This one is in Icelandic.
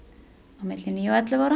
á milli níu og ellefu ára